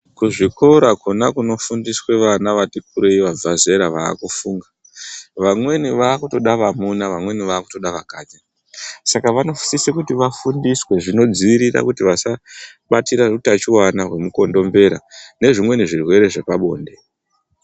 Kuzvikora kona kunofundiswa vana vati kurei vabva zera vaakufunga, vamweni vaakutoda vamuna vamweni vaakutoda vakadzi, saka vanosise kuti vafundiswe zvinodziirira kubatira hutachiwana hwemukondombera, nezvimweni zvirwere zvepabonde.